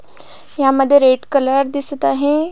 ह्या मध्ये red colour दिसत आहे.